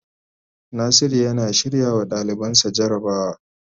Nasiru yana shirrawa dalibansa jarabawa.